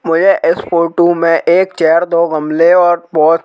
मुझे इस फोटो में एक चेयर दो गमले और बहुत--